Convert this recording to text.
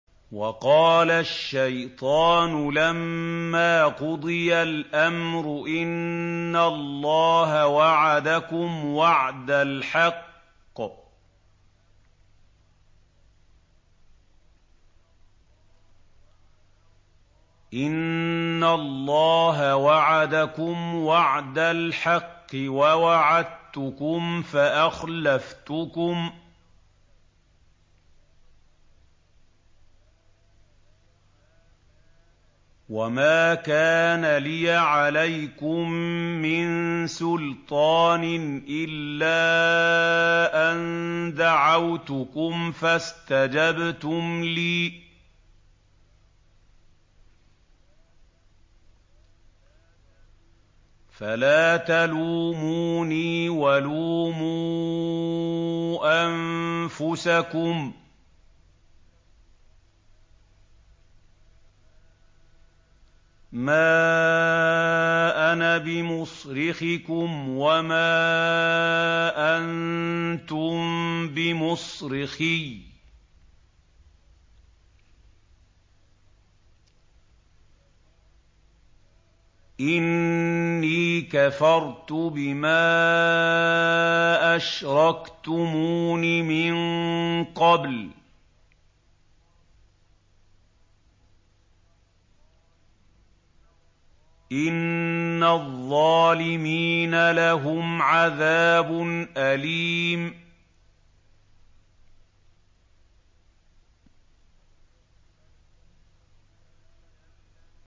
وَقَالَ الشَّيْطَانُ لَمَّا قُضِيَ الْأَمْرُ إِنَّ اللَّهَ وَعَدَكُمْ وَعْدَ الْحَقِّ وَوَعَدتُّكُمْ فَأَخْلَفْتُكُمْ ۖ وَمَا كَانَ لِيَ عَلَيْكُم مِّن سُلْطَانٍ إِلَّا أَن دَعَوْتُكُمْ فَاسْتَجَبْتُمْ لِي ۖ فَلَا تَلُومُونِي وَلُومُوا أَنفُسَكُم ۖ مَّا أَنَا بِمُصْرِخِكُمْ وَمَا أَنتُم بِمُصْرِخِيَّ ۖ إِنِّي كَفَرْتُ بِمَا أَشْرَكْتُمُونِ مِن قَبْلُ ۗ إِنَّ الظَّالِمِينَ لَهُمْ عَذَابٌ أَلِيمٌ